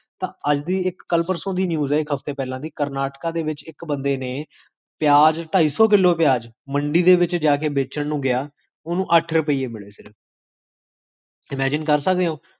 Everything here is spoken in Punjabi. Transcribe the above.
ਅੱਜ ਦੀ ਇਕ, ਕਲ ਪਰਸੋੰ ਦੀ news ਹੈ, ਹਫਤੇ ਪਹਲਾ ਦੀ, ਕਰਨਾਟਕਾ ਦੇ ਵਿੱਚ, ਇਕ ਬੰਦੇ ਨੇ ਪਿਆਜ, ਟਾਈ ਸੋ ਕਿੱਲੋ ਪਿਆਜ, ਮੰਡੀ ਦੇ ਵਿੱਚ ਜਾ ਕੇ ਬੇਚਣ ਨੂ ਗਿਆ ਓਨੂ ਅਠ ਰੁਪੇ ਮਿਲੇ ਸਿਰਫ imagine ਕਰ ਸਕਦੇ ਹੋੰ?